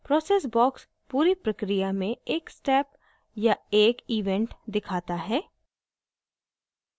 process box पूरी प्रक्रिया में एक step या एक event दिखाता है